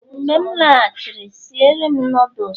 mgbe m laghachiri, si ere'm nudulus